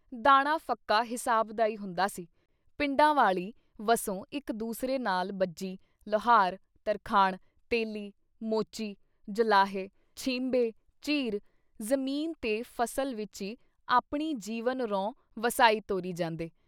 ਦਾਣਾ ਫੱਕਾ ਹਿਸਾਬ ਦਾ ਈ ਹੁੰਦਾ ਸੀ ਪਿੰਡਾਂ ਵਾਲੀ ਵਸੋਂ ਇੱਕ ਦੂਸਰੇ ਨਾਲ਼ ਬੱਝੀ, ਲੁਹਾਰ, ਤਰਖਾਣ, ਤੇਲੀ, ਮੋਚੀ, ਜੁਲਾਹੇ. ਛੀਂਬੇ, ਝੀਰ ਜ਼ਮੀਨ ਤੇ ਫਸਲ ਵਿੱਚ ਈ ਆਪਣੀ ਜੀਵਨ ਰੋਂ ਵਸਾਈ ਤੋਰੀ ਜਾਂਦੇ।